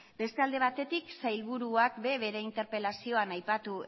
beste alde batetik sailburuak ere bere interpelazioan aipatu